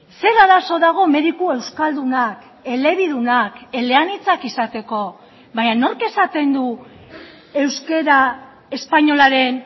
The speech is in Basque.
zer arazo dago mediku euskaldunak elebidunak eleanitzak izateko baina nork esaten du euskara espainolaren